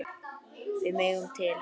Við megum til.